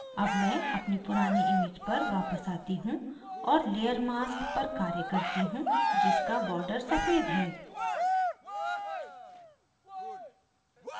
अब मैं अपनी पुरानी image पर वापस आती हूँ और layer mask पर कार्य करती हूँ जिसका border सफ़ेद है